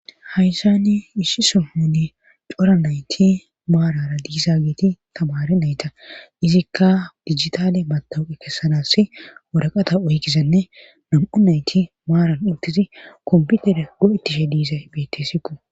hayssani isshi sohonni cora nayti maarara diisa geeti tamare nayta izikka dijitale matowuqe kessanas woraqata uhgizanne nam7u nayti maaran intizi komputeda go7ettishe diizay beettesikku